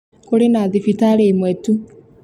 Kũrĩ na thibitarĩ imwe tu